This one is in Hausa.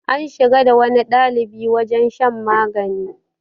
an shiga da wani ɗalibi wajen shan magani